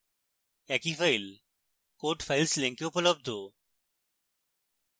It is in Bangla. একই file code files link উপলব্ধ